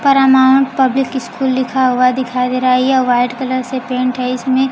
Parman public school लिखा हुआ दिखाई दे रहा है यह वाइट कलर से पेंट है इसमें--